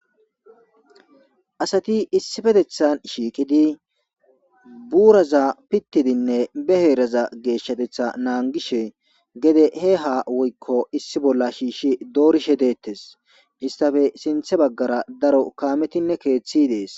Asati issipetetan shiqidi buraza pitidine be heraza geshateta nagishe gede he ha woyko issi bola shishi dorishe detes istape sinta bagara daro kametinne kethi de'es.